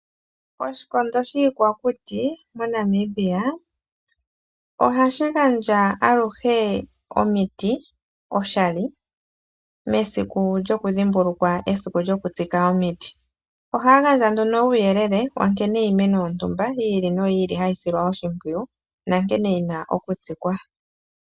Oshikondo shiikwakuti moNamibia ohashi gandja aluhe omiti oshali mesiku lyokudhimbulukwa esiku lyokutsika omiti. Ohaya gandja nduno uuyelele wankene iimeno yontumba yi ili noyi ili hayi silwa oshimpwiyu nankene yina okutsikwa.